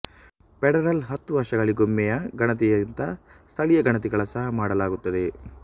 federal ಹತ್ತು ವರ್ಷಗಳಿಗೊಮ್ಮೆಯ ಗಣತಿಗಿಂತ ಸ್ಥಳೀಯ ಗಣತಿಗಳ ಸಹ ಮಾಡಲಾಗುತ್ತದೆ